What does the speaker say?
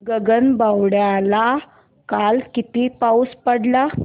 गगनबावड्याला काल किती पाऊस पडला